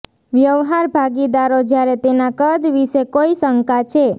વ્યવહાર ભાગીદારો જ્યારે તેના કદ વિશે કોઈ શંકા છે